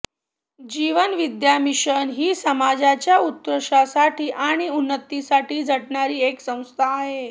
जीवन Vidya mission ही समाजाच्या उत्कर्षासाठी आणि उन्नतीसाठी झटणारी एक संस्था आहे